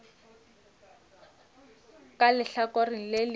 ka lehlakoreng le lengwe o